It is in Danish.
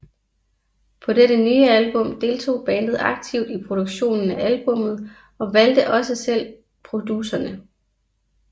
På dette nye album deltog bandet aktivt i produktionen af albummet og valgte også selv producerne